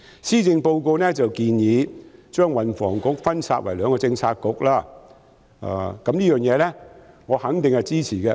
施政報告建議將運輸及房屋局分拆為兩個政策局，對此我肯定支持。